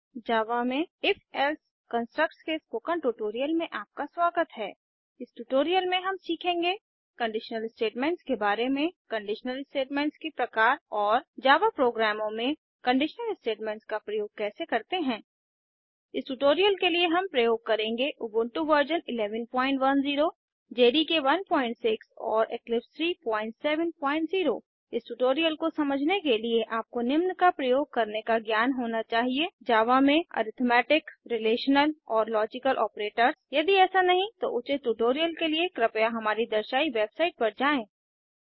जावा में if else constructs के spoken tutorial में आपका स्वागत है इस ट्यूटोरियल में हम सीखेंगे कंडीशनल स्टेटमेंट्स के बारे में कंडीशनल स्टेटमेंट्स के प्रकार और जावा प्रोग्रामों में कंडीशनल स्टेटमेंट्स का प्रयोग कैसे करते हैं इस ट्यूटोरियल के लिए हम प्रयोग करेंगे उबुंटू व 1110 जेडीके 16 और इक्लिप्स 370 इस ट्यूटोरियल को समझने के लिए आपको निम्न का प्रयोग करने का ज्ञान होना चाहिए जावा में अरिथमेटिक रिलेशनल और लॉजिकल ऑपरेटर्स यदि ऐसा नहीं तो उचित ट्यूटोरियल के लिए कृपया हमारी दर्शायी वेबसाईट पर जाएँ